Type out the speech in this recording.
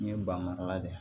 N ye banmara la dɛ